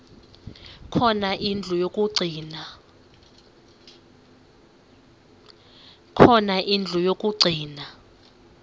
khona indlu yokagcina